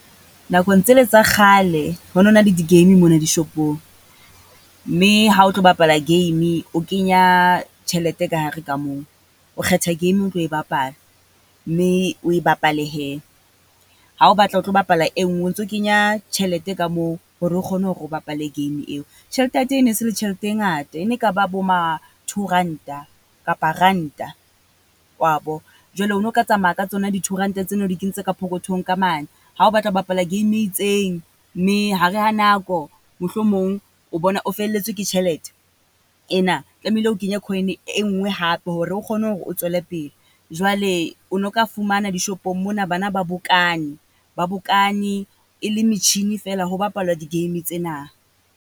Nakong tsele tsa kgale, ho no na le di-game mona dishopong. Mme ha o tlo bapala game, o kenya tjhelete ka hare ka moo. O kgetha game o tlo e bapala, mme oe bapale hee, ha o batla ho tlo bapala e nngwe o ntso kenya tjhelete ka moo, hore o kgone hore o bapale game eo. Tjhelete ya teng e ne se le tjhelete e ngata, e ne ka ba bo ma two ranta kapa ranta, wa bo? Jwale o no o ka tsamaya ka tsona di-two ranta tseno o di kentse ka pokothong ka mane. Ha o batla ho bapala game e itseng, mme ha re ha nako mohlomong o bona o felletswe ke tjhelete, ena. Tlamehile o kenye coin-e e nngwe hape hore o kgone hore o tswele pele, jwale o no ka fumana dishopong mona bana ba bokane, ba bokane e le metjhini feela ho papalwa di-game tsena.